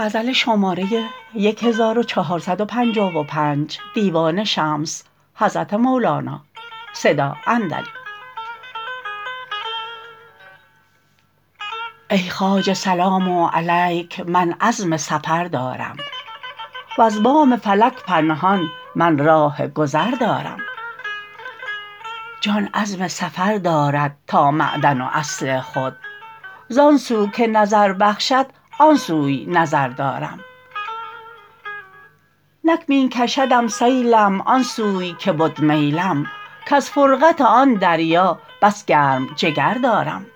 ای خواجه سلام علیک من عزم سفر دارم وز بام فلک پنهان من راه گذر دارم جان عزم سفر دارد تا معدن و اصل خود زان سو که نظر بخشد آن سوی نظر دارم نک می کشدم سیلم آن سوی که بد میلم کز فرقت آن دریا بس گرم جگر دارم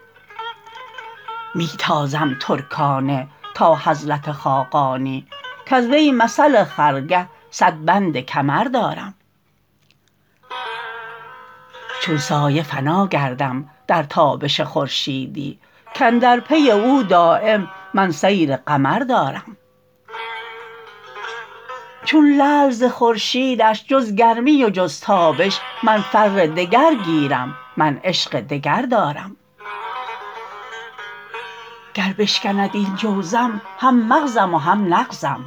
می تازم ترکانه تا حضرت خاقانی کز وی مثل خرگه صد بند کمر دارم چون سایه فنا گردم در تابش خورشیدی کاندر پی او دایم من سیر قمر دارم چون لعل ز خورشیدش جز گرمی و جز تابش من فر دگر گیرم من عشق دگر دارم گر بشکند این جوزم هم مغزم و هم نغزم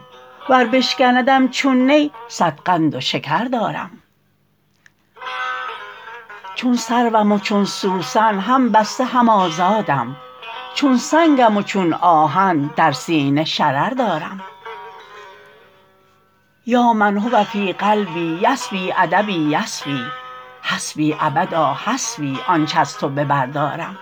ور بشکندم چون نی صد قند شکر دارم چون سروم و چون سوسن هم بسته هم آزادم چون سنگم و چون آهن در سینه شرر دارم یا من هو فی قلبی یسبی ادبی یسبی حسبی ابدا حسبی آنچ از تو به بر دارم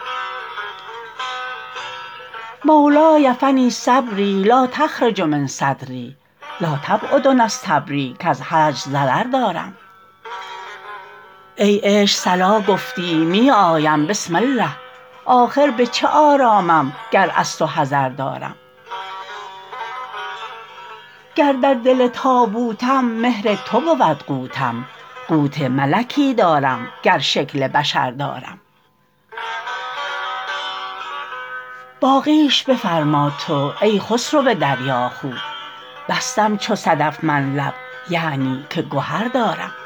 مولای فنی صبری لا تخرج من صدری لا تبعد نستبری کز هجر ضرر دارم ای عشق صلا گفتی می آیم بسم الله آخر به چه آرامم گر از تو حذر دارم گر در دل تابوتم مهر تو بود قوتم قوت ملکی دارم گر شکل بشر دارم آفندی کلیتیشی کالیسو کیتیشی شیلیسو نسندیشی دل زیر و زبر دارم افندی مناخوسی بویسی کلیمو بویسی تینما خو نتیلوسی یاد تو سمر دارم باقیش بفرما تو ای خسرو دریاخو بستم چو صدف من لب یعنی که گهر دارم